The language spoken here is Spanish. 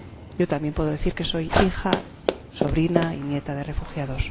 Yo también puedo decir que soy hija, sobrina y nieta de refugiados.